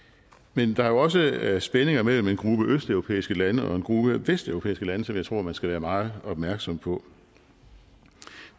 men der er jo også spændinger mellem en gruppe østeuropæiske lande og en gruppe vesteuropæiske lande som jeg tror man skal være meget opmærksom på